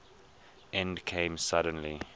end came suddenly